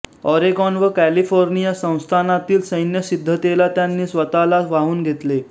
Oregon व California संस्थानातील सैन्य सिद्धतेला त्यांनी स्वतला वाहून घेतले